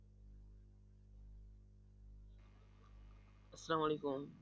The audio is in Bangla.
আসসালামু আলাইকুম।